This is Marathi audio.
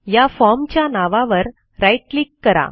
या formच्या नावावर राईट क्लिक करा